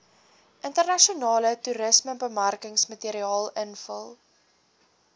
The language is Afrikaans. internasionale toerismebemarkingsmateriaal invul